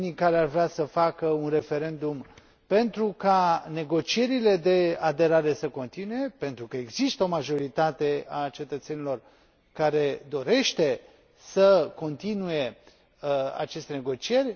Unii care ar vrea să facă un referendum, pentru ca negocierile de aderare să continue, pentru că există o majoritate a cetățenilor care dorește să continue aceste negocieri.